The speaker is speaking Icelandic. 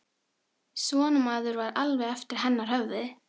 Svona maður var alveg eftir hennar höfði!